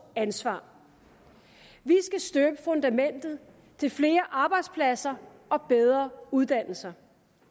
ansvar vi skal støbe fundamentet til flere arbejdspladser og bedre uddannelser